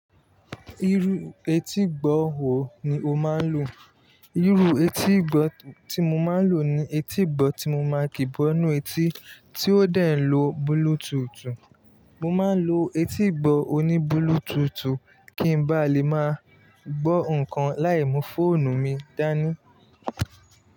Irú etígbọ́ wò ní o máa ń lò? Irú etígbọ́ tí mo máa ń lò ní etígbọ́ tí mo máa ń kígbọ́ nínú etí tí ó dẹ n lo Bluetooth. Mo máa ń lo etígbọ́ òní Bluetooth kí n bá lè máa gbọ́ nǹkan láì mú fóònù mi dání.